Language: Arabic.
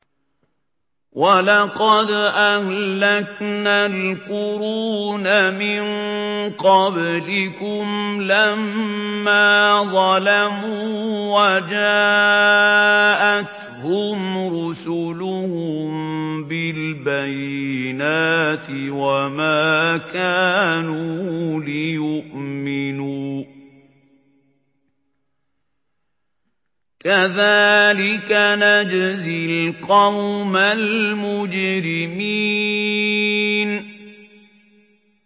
وَلَقَدْ أَهْلَكْنَا الْقُرُونَ مِن قَبْلِكُمْ لَمَّا ظَلَمُوا ۙ وَجَاءَتْهُمْ رُسُلُهُم بِالْبَيِّنَاتِ وَمَا كَانُوا لِيُؤْمِنُوا ۚ كَذَٰلِكَ نَجْزِي الْقَوْمَ الْمُجْرِمِينَ